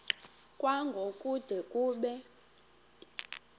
kwango kude kube